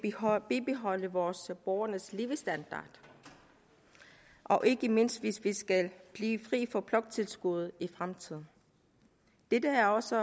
bibeholde vore borgeres levestandard og ikke mindst hvis vi skal blive fri for bloktilskuddet i fremtiden dette er også